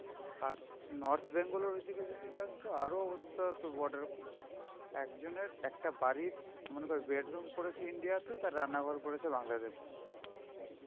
আর North Bengal এর ওই দিকে যদি যাস তো আরো অবস্থা তোর border . একজনের একটা বাড়ির মনে কর bedroom পড়েছে India তে, তার রান্নাঘর পড়েছে বাংলাদেশে.